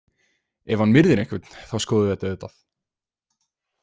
Ef hann myrðir einhvern, þá skoðum við þetta auðvitað.